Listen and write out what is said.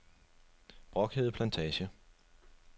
Brokhede Plantage